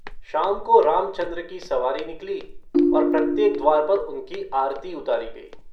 शाम को रामचन्द्र की सवारी निकली और प्रत्येक द्वार पर उनकी आरती उतारी गई।